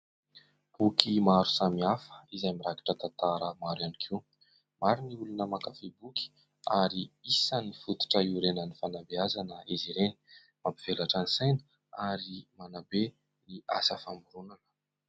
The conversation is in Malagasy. Boky maro samihafa izay mirakitra tantara maro ihany koa. Maro ny olona mankafy boky, ary isan'ny fototra hiorenan'ny fanabeazana izy ireny. Mampivelatra ny saina ary manabe ny asa famoronana.